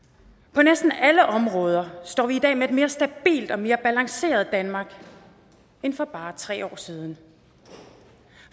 på næsten alle områder står vi i dag med et mere stabilt og mere balanceret danmark end for bare tre år siden